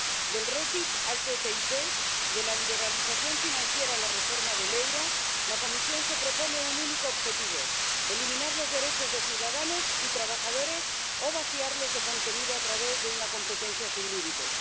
Del REFIT a la ATCI, de la liberalización financiera a la reforma del euro, la Comisión se propone un único objetivo eliminar los derechos de ciudadanos y trabajadores o vaciarlos de contenido a través de una competencia sin límites.